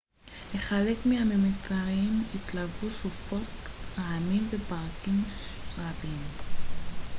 לחלק מהממטרים התלוו סופות רעמים וברקים רבים